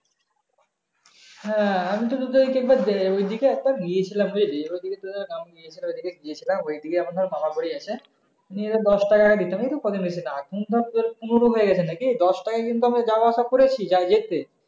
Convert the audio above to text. হ্যাঁ আমি তো তোদের কে দেই ওই দিকে একটা গিয়েছিলাম বুঝেছিস এবার ওই দিকে গিয়েছিলাম ওই দিকে মনে হয় বাবা মরে গেছে নিয়ে দশ টাকাই দিতাম এই তো কো দিন হয়েছে পনেরো হয়ে গেছে না কি দশটাকা কিন্তু যাওয়া আসা করেছি যা যেতে